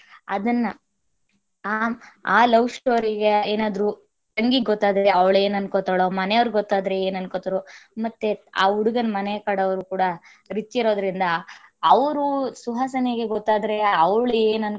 ಮಾಡ್ತಾ ಇರ್ತಾರೆ ಅದುನ್ನ ಆ~ ಆ love story ಗೆ ಏನಾದರೂ ತಂಗಿಗ ಗೊತ್ತಾದರೆ ಅವಳ ಏನ್ ಅನ್ಕೊಂತಾಳೋ ಮನೆವ್ರಿಗ್ ಗೊತ್ತಾದರೆ ಏನ್ ಅನ್ಕೊಂತಾರೋ ಮತ್ತೆ ಆ ಹುಡಗನ ಮನೆ ಕಡೆವರು ಕೂಡ rich ಇರೋದರಿಂದ ಅವರು ಸುಹಾಸಿನಿಗೆ ಗೊತ್ತಾದರೆ ಅವಳ.